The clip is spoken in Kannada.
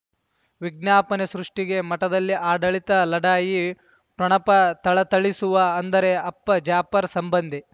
ವಿಜ್ಞಾಪನೆ ಸೃಷ್ಟಿಗೆ ಮಠದಲ್ಲಿ ಆಡಳಿತ ಲಢಾಯಿ ಠೊಣಪ ಥಳಥಳಿಸುವ ಅಂದರೆ ಅಪ್ಪ ಜಾಫರ್ ಸಂಬಂಧಿ